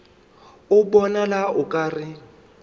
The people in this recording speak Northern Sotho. a bonala o ka re